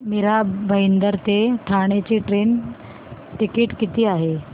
मीरा भाईंदर ते ठाणे चे train ticket किती आहे